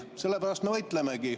Sellepärast me võitlemegi.